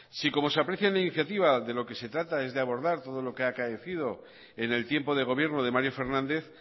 si como se aprecia en la iniciativa de lo que se trata es de abordar todo lo que acaecido en el tiempo de gobierno de mario fernández